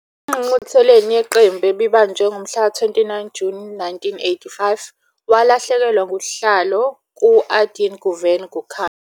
Engqungqutheleni yeqembu ebibanjwe ngomhlaka-29 Juni 1985, walahlekelwa ngusihlalo ku- Aydın Güven Gürkan.